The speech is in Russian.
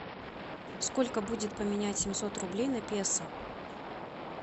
сколько будет поменять семьсот рублей на песо